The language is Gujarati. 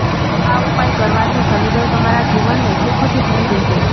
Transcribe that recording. આ ઉપાય કરવાથી શની દેવ તમારા જીવનને સુખોથી ભરી દેશે